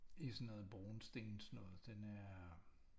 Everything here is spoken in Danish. I sådan noget brunstens noget den er